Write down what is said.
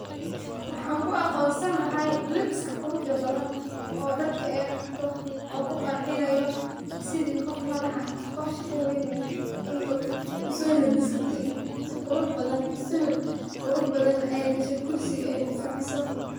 Waxaan ku aqonsani lahaa labiska quruxdha badan oo dharka aay qabto oo ku qacinayo sidiii qoof madaax aah ama qoof shaqo weyn leeh in aay uso labisatay si qurux badan sawir qurux badan na aay gashay gursina aay ku fadiso.